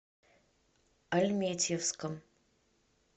альметьевском